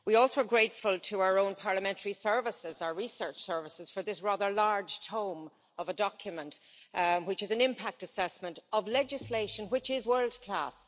We are also grateful to our own parliamentary research services for this rather large tome of a document, which is an impact assessment of legislation which is world class.